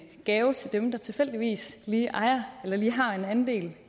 gave til dem der tilfældigvis lige ejer eller lige har en andel